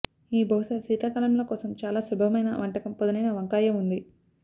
ఈ బహుశా శీతాకాలంలో కోసం చాలా సులభమైన వంటకం పదునైన వంకాయ ఉంది